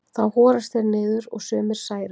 Þá horast þeir niður og sumir særast.